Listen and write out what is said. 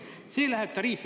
See läheb tariifi.